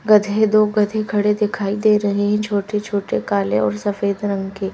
गधे दो गधे खड़े दिखाई दे रहे हैं छोटे-छोटे काले और सफेद रंग के--